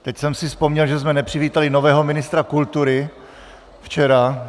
Teď jsem si vzpomněl, že jsme nepřivítali nového ministra kultury včera.